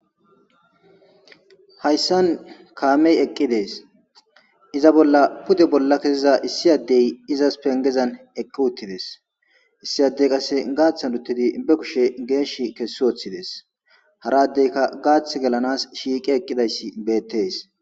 Hayisan kame eqides iza bola pude bola keiza issi izas pengezan eqiutides issi adde qase gatan utidi ba kushe geshi kesiutides hara addeka gati gelamawus shiqi eqidayisi betes.